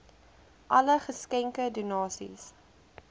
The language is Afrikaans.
alle geskenke donasies